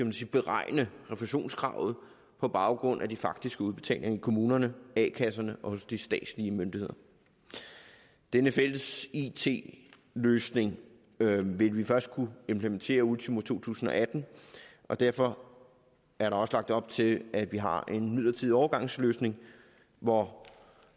beregne refusionskravet på baggrund af de faktiske udbetalinger i kommunerne a kasserne og hos de statslige myndigheder denne fælles it løsning vil vi først kunne implementere ultimo to tusind og atten og derfor er der også lagt op til at vi har en midlertidig overgangsløsning hvor